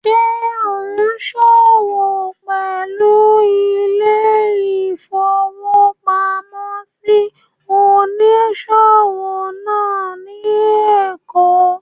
Ṣé ò ún ṣòwò pẹ̀lú ilé-ìfowópamọ́sí onísòwò náà ní èkó?